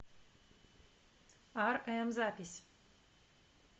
арэм запись